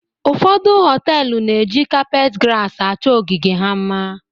Ụfọdụ họtel na-eji kapet gras achọọ ogige ha mma.